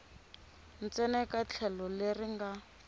ntsena eka tlhelo leri nga